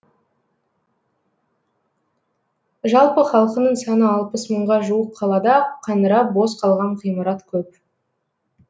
жалпы халқының саны алпыс мыңға жуық қалада қаңырап бос қалған ғимарат көп